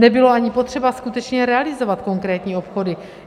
Nebylo ani potřeba skutečně realizovat konkrétní obchody.